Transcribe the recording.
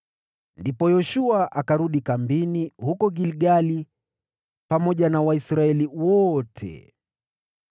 Ndipo Yoshua akarudi kambini huko Gilgali pamoja na Israeli yote.